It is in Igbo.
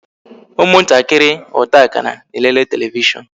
ụmụ ntakịrị ọta akara na-elele televishon